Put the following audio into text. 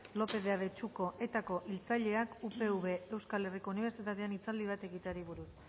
lópez de abetxuko etako hiltzaileak upv euskal herriko unibertsitatean hitzaldi bat egiteari buruz